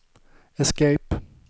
escape